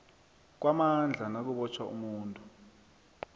kwamandla nakubotjhwa umuntu